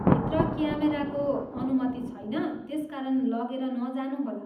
भित्र क्यामेराको अनुमति छैन, त्यसकारण लगेर नजानुहोला।